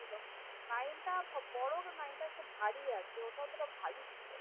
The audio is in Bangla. nine তা বড় হোক কিন্তু একটু ভারী আছে